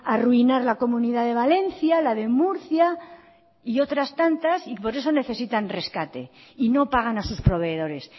arruinar la comunidad de valencia la de murcia y otras tantas y por eso necesitan rescate y no pagan a sus proveedores